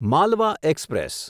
Malwa express